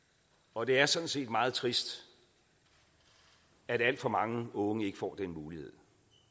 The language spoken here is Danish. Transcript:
og det er sådan set meget trist at alt for mange unge ikke får den mulighed